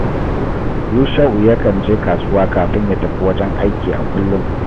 Yusha’u yakan je kasuwa kafin ya tafi wajen aiki a kullum